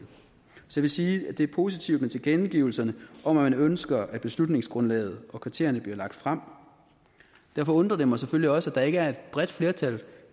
så vil jeg sige at det er positivt med tilkendegivelserne om at man ønsker at beslutningsgrundlaget og kriterierne bliver lagt frem derfor undrer det mig selvfølgelig også at der ikke er et bredt flertal